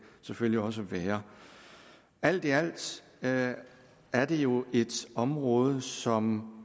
selvfølgelig også være alt i alt er det jo et område som